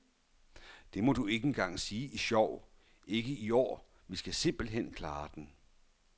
Det må du ikke engang sige i sjov, ikke i år, vi skal simpelt hen klare den.